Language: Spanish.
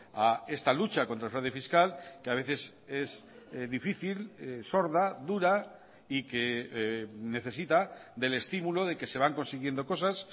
a esta lucha contra el fraude fiscal que a veces es difícil sorda dura y que necesita del estímulo de que se van consiguiendo cosas